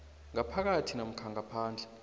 ngaphakathi namkha ngaphandle